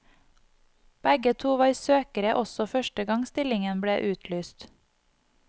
Begge to var søkere også første gang stillingen ble utlyst.